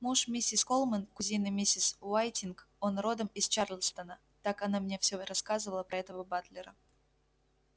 муж миссис колмен кузины миссис уайтинг он родом из чарльстона так она мне все рассказывала про этого батлера